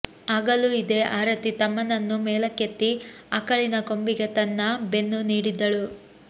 ಆಗಲೂ ಇದೇ ಆರತಿ ತಮ್ಮನನ್ನು ಮೇಲಕ್ಕೆತ್ತಿ ಆಕಳಿನ ಕೊಂಬಿಗೆ ತನ್ನ ಬೆನ್ನು ನೀಡಿದ್ದಳು